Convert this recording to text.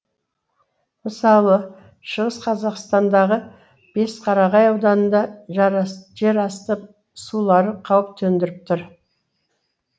мысалы шығыс қазақстандағы бесқарағай ауданында жерасты сулары қауіп төндіріп тұр